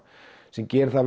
sem gerir það að